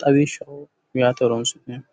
,xawishshaho yaate horonsi'neemmoho